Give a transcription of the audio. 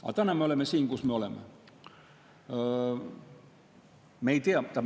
Aga täna me oleme siin, kus me oleme.